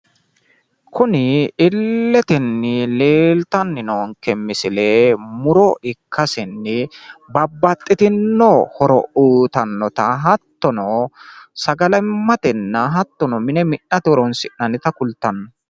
Kuni illetenni leeltanni noonke misile muro ikkasenni babbaxxitinno horo uyitannota hattono sagalimmatenna hattono mine mi'nate horoonsi'nannita kultanno.